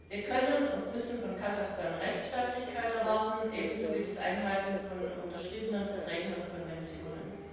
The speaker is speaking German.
Wir können und müssen von Kasachstan Rechtsstaatlichkeit erwarten, ebenso wie das Einhalten von unterschriebenen Verträgen und Konventionen.